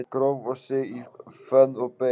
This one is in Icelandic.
Gróf sig í fönn og beið